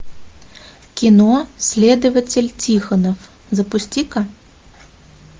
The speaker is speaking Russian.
кино следователь тихонов запусти ка